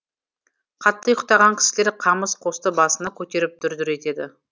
қатты ұыйқтаған кісілер қамыс қосты басына көтеріп дүр дүр етеді